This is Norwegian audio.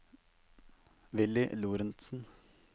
Willy Lorentzen